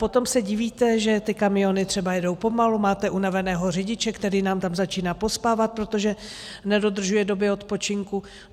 Potom se divíte, že ty kamiony třeba jedou pomalu, máte unaveného řidiče, který nám tam začíná pospávat, protože nedodržuje doby odpočinku.